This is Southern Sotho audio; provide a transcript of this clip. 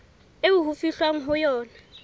eo ho fihlwang ho yona